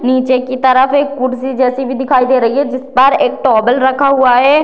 नीचे की तरफ एक कुर्शी जैसी भी दिखाई दे रही है जिस पर एक टॉवल रखा हुआ है।